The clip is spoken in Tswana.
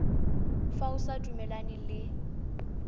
fa o sa dumalane le